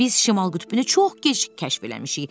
Biz şimal qütbünü çox gec kəşf eləmişik.